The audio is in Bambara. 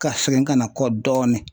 Ka segin kana kɔ dɔɔni